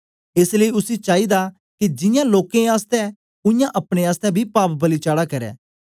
एस लेई उसी चाईदा के जियां लोकें आसतै उयांगै अपने आसतै बी पाप बलि चाड़ा करै